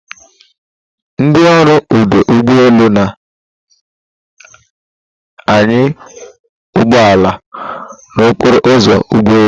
Ndị ọrụ ọdụ ụgbọ elu na-anya ụgbọ ala n'okporo ụzọ ụgbọ elu.